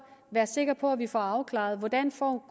være sikre på at vi får afklaret hvordan